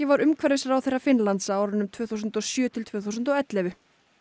var umhverfisráðherra Finnlands á árunum tvö þúsund og sjö til tvö þúsund og ellefu